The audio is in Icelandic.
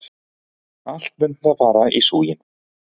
Allt mun það fara í súginn!